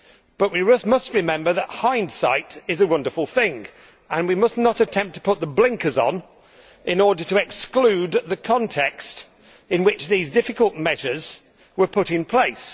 But we must remember that hindsight is a wonderful thing, and we must not attempt to put the blinkers on in order to exclude the context in which these difficult measures were put in place.